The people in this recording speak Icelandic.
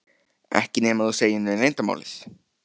Ekki nema þú segir mér leyndarmálið.